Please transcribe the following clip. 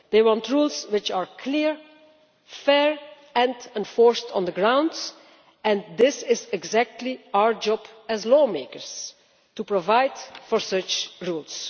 They want rules which are clear, fair and enforced on the ground, and it is precisely our job as lawmakers to provide for such rules.